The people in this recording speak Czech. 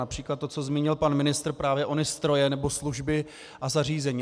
Například to, co zmínil pan ministr, právě ony stroje nebo služby a zařízení.